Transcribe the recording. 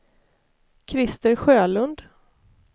Krister Sjölund